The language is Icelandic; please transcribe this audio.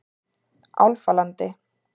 Álfalandi